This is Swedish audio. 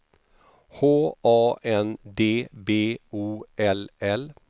H A N D B O L L